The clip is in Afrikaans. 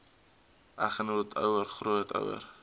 eggenoot ouer grootouer